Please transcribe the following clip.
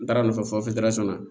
N taara nɔfɛ fɔ na